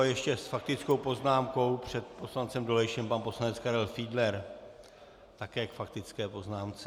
A ještě s faktickou poznámkou před poslancem Dolejšem pan poslanec Karel Fiedler - také k faktické poznámce.